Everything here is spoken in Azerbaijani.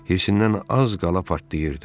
Hirsindən az qala partlayırdı.